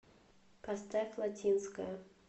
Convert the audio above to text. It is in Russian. поставь латинская